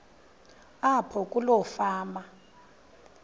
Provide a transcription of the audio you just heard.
apho kuloo fama